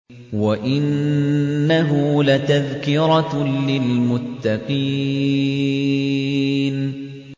وَإِنَّهُ لَتَذْكِرَةٌ لِّلْمُتَّقِينَ